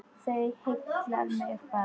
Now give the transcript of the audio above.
Það heillar mig bara.